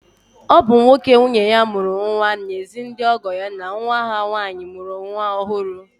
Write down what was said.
Ọ bụ nwoke nwunye ya mụrụ nwa na-ezi ndị ọgọ ya na nwa ha nwaanyị mụrụ nwa ọhụrụ.